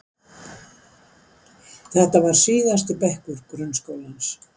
Þetta var síðasti bekkur grunnskólans.